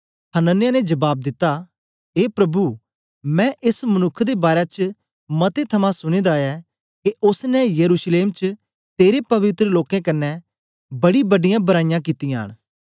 हनन्याह ने जबाब दिता ए प्रभु मैं एस मनुक्ख दे बारै च मतें थमां सुने दा ऐ के ओसने यरूशलेम च तेरे पवित्र लोकें कन्ने बड़ीबड्डीयां बराईयां कित्तियां न